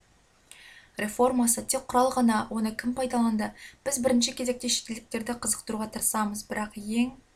реформасы тек құрал ғана оны кім пайдаланды біз бірінші кезекте шетелдіктерді қызықтыруға тырысамыз бірақ ең